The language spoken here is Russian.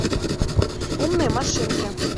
умные машинки